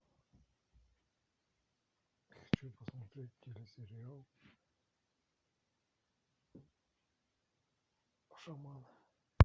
хочу посмотреть телесериал шаман